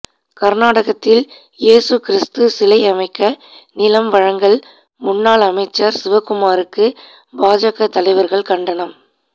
கா்நாடகத்தில் இயேசு கிறிஸ்து சிலை அமைக்க நிலம் வழங்கல்முன்னாள் அமைச்சா் சிவக்குமாருக்கு பாஜக தலைவா்கள் கண்டனம்